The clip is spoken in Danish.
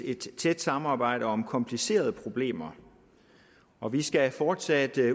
et tæt samarbejde om komplicerede problemer og vi skal fortsat